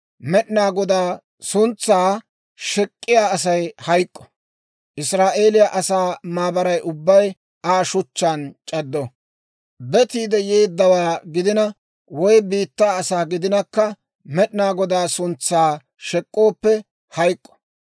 Med'inaa Godaa suntsaa shek'k'iyaa Asay hayk'k'o; Israa'eeliyaa asaa maabaray ubbay Aa shuchchaan c'addo. Betiide yeeddawaa gidina woy biittaa asaa gidinakka Med'inaa Godaa suntsaa shek'k'ooppe hayk'k'o.